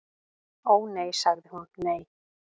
"""Ó, nei sagði hún, nei."""